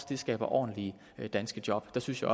vi skaber ordentlige danske job der synes jeg